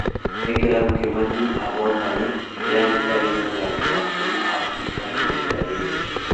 Nĩ kĩrabũ kĩmwe tũ -ahotani- kĩrĩa gĩtarĩ mũthakĩ wa kũma Afrika ĩhĩnda rĩrĩ